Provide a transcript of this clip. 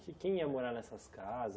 Que quem ia morar nessas casas?